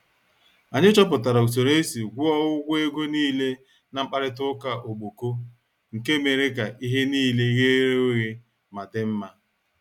Anyị chọpụtara usoro esi gwuo ụgwọ ego nile n' mkparita ụka ogboko nke mere ka ihe nile ghere oghe ma dị mma.